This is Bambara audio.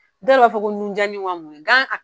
Dɔw yɛrɛ b'a fɔ ko nun jani wa mun de